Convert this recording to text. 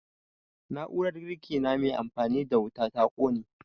Na'urar girki na mai aiki da wuta ta ƙone